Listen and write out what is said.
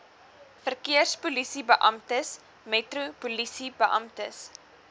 verkeerspolisiebeamptes metro polisiebeamptes